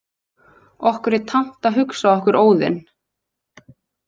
Okkur er tamt að hugsa okkur Óðin.